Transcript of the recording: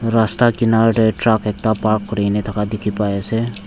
rasta kinar dae truck ekta park kurina thaka diki pai asae.